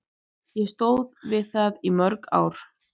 Ég stóð við það í mörg ár.